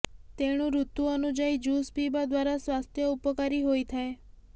ତେଣୁୠତୁ ଅନୁଯାୟୀ ଜୁସ ପିଇବା ଦ୍ୱାରା ସ୍ୱାସ୍ଥ୍ୟ ଉପକାରୀ ହୋଇଥାଏ